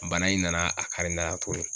Bana in nana a kari n dala tugun.